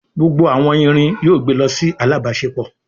Gbógbó àwon ìrìn yóò gbé ló sì alábáṣepọ